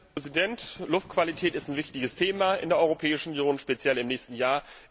Herr Präsident! Luftqualität ist ein wichtiges Thema in der Europäischen Union, speziell im nächsten Jahr.